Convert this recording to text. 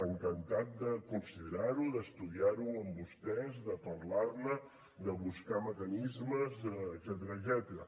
encantat de considerar ho d’estudiar ho amb vostès de parlar ne de buscar mecanismes etcètera